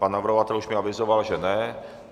Pan navrhovatel už mi avizoval, že ne.